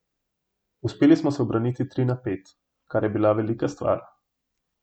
Uspeli smo se ubraniti tri na pet, kar je bila velika stvar.